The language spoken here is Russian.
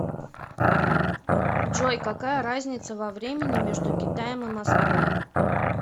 джой какая разница во времени между китаем и москвой